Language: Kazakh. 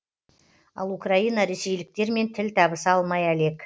ал украина ресейліктермен тіл табыса алмай әлек